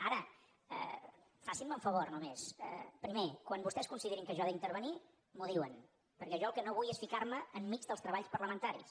ara facin me un favor només primer quan vostès considerin que jo he d’intervenir m’ho diuen perquè jo el que no vull és ficar me enmig dels treballs parlamentaris